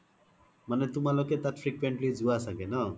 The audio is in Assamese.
মানে তোমালোকে তাত frequently জুৱা চাগে ন্?